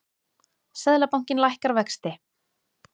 Seðlabankinn lækkar vexti